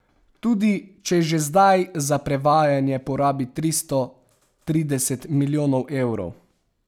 Tudi če že zdaj za prevajanje porabi tristo trideset milijonov evrov.